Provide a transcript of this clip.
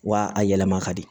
Wa a yɛlɛma ka di